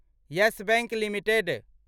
yes Bank limited